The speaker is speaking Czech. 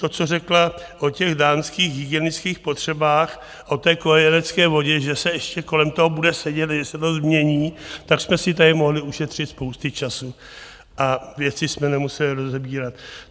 To, co řekla o těch dámských hygienických potřebách, o té kojenecké vodě, že se ještě kolem toho bude sedět, že se to změní, tak jsme si tady mohli ušetřit spousty času a věci jsme nemuseli rozebírat.